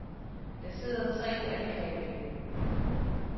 Der sidder tre på anklagebænken.